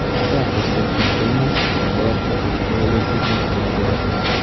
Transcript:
Professor Distelmans bu holatda boshqa yo‘l yo‘qligini tan oldi.